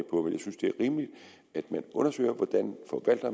synes det er rimeligt at man undersøger hvordan